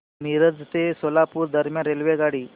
मिरज ते सोलापूर दरम्यान रेल्वेगाडी